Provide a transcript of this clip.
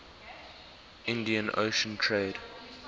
indian ocean trade